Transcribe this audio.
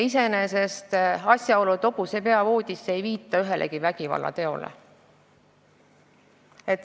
Iseenesest ei viita asjaolu, et pannakse hobuse pea voodisse, ühelegi vägivallateole.